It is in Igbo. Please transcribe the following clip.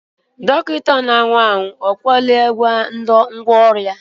Dọkịta na-awa ahụ akwadola ngwá ọrụ?